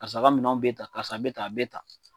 Karisa ka minɛnw bɛ ta, karisa bɛ ta, a bɛ ta.